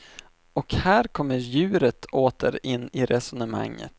Och här kommer djuret åter in i resonemanget.